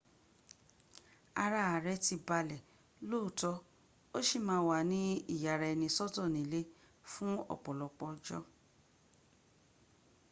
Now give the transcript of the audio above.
ara ààrẹ̀ ti balẹ̀ lóòótọ́ ó sì má a wà ní ìyaraẹnisọ́tọ̀ nílé fún ọ̀pọ̀lọpọ̀ ọjọ́